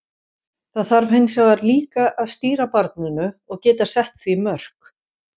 Það þarf hins vegar líka að stýra barninu og geta sett því mörk.